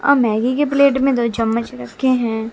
और मैगी के प्लेट में दो चम्मच रखे हैं।